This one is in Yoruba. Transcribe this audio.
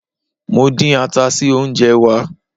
Mo dín ata sí oúnjẹ wá.